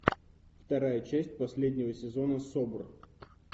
вторая часть последнего сезона собр